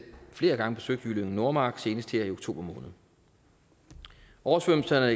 flere gange besøgt jyllinge nordmark senest her i oktober måned oversvømmelserne